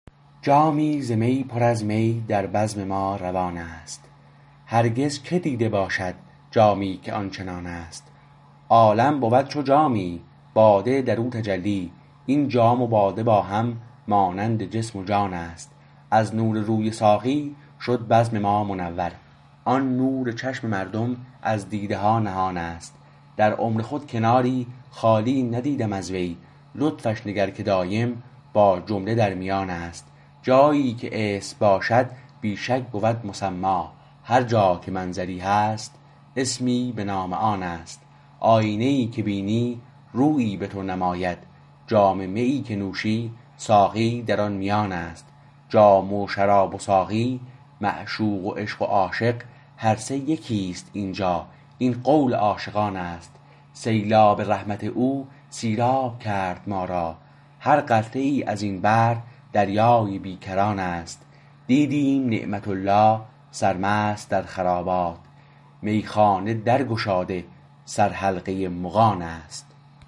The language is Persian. جامی ز می پر از می در بزم ما روان است هرگز که دیده باشد جامی که آنچنان است عالم بود چو جامی باده در او تجلی این جام و باده با هم مانند جسم و جان است از نور روی ساقی شد بزم ما منور و آن نور چشم مردم از دیده ها نهان است در عمر خود کناری خالی ندیدم از وی لطفش نگر که دایم با جمله در میان است جاییکه اسم باشد بی شک بود مسمی هر جا که منظری هست اسمی به نام آن است آیینه ای که بینی رویی به تو نماید جام میی که نوشی ساقی در آن میان است جام و شراب و ساقی معشوق و عشق و عاشق هر سه یکیست اینجا این قول عاشقان است سیلاب رحمت او سیراب کرد ما را هر قطره ای از این بحر دریای بیکران است دیدیم نعمت الله سرمست در خرابات میخانه در گشاده سر حلقه مغان است